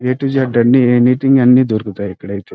A to Z అన్ని anything దొరుకుతాయి ఇక్కడైతే --